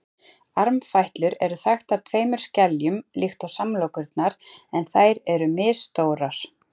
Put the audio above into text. Armfætlur eru þaktar tveimur skeljum líkt og samlokurnar en þær eru misstórar.